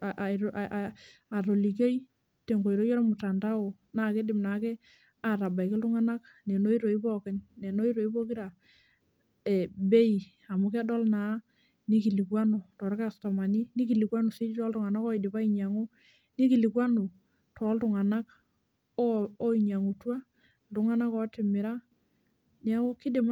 a atolikioi tenkoitoi ormutandao naa kidim naake atabaiki iltunganak neno oitoi pookin, neno oitoi pokira e bei amu kedol naa nikilikwanu torkastomani , nikilikwanu si toltunganak oidipa ainyiangu, nikilikwanu toltunganak oo oinyingutua , iltunganak otimira , niaku kidim nai